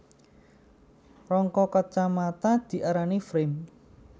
Rangka kacamata diarani frame